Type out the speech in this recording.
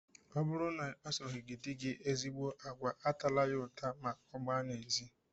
Ọ bụrụ na ị kpasoghị di gị ezigbo agwa, atala ya ụta ma ọ gbaa n'ezi!